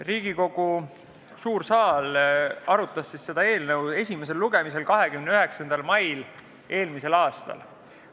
Riigikogu suur saal arutas seda eelnõu esimesel lugemisel 29. mail eelmisel aastal.